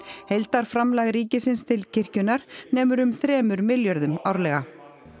heildarframlag ríkisins til kirkjunnar nemur um þremur milljörðum árlega